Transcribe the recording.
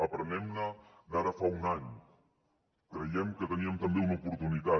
aprenguem ne d’ara fa un any crèiem que teníem també una oportunitat